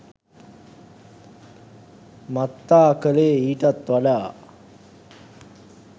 මත්තා කළේ ඊටත් වඩා